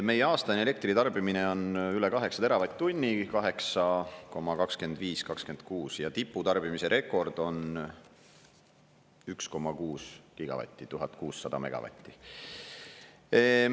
Meie aastane elektritarbimine on üle 8 teravatt-tunni – 8,25–8,26 – ja tiputarbimise rekord on 1,6 gigavatti, 1600 megavatti.